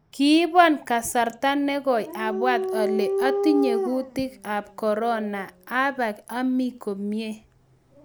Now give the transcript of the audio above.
"Kibon kasarta negoi abwat ale atinye kutiet ab korona, abak ami komie."